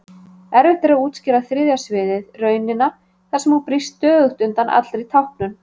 Erfitt er að útskýra þriðja sviðið, raunina þar sem hún brýst stöðugt undan allri táknun.